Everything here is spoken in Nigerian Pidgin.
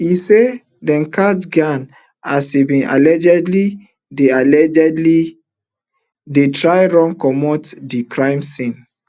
e say dem catch geng as e bin allegedly dey allegedly dey try run comot di crime scene